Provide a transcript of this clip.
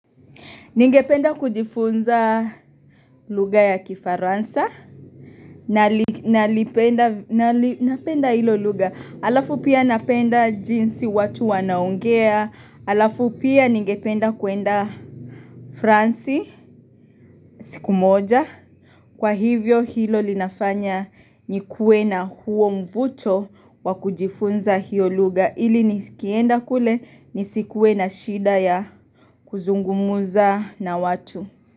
Ningependa kujifunza lugha ya kifaransa, nalipenda hilo lugha, halafu pia napenda jinsi watu wanaongea, halafu pia ningependa kuenda fransi siku moja, kwa hivyo hilo linafanya nikue na huo mvuto wa kujifunza hiyo lugha, ili nikienda kule nisikuena shida ya kuzungumuza na watu.